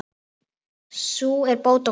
Sú er bót á klæði.